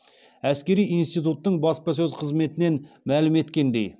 әскери интитуттың баспасөз қызметінен мәлім еткендей